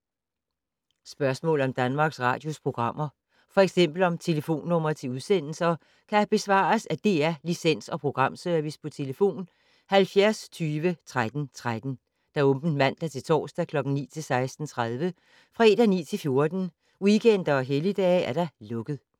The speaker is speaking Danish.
Spørgsmål om Danmarks Radios programmer, f.eks. om telefonnumre til udsendelser, kan besvares af DR Licens- og Programservice: tlf. 70 20 13 13, åbent mandag-torsdag 9.00-16.30, fredag 9.00-14.00, weekender og helligdage: lukket.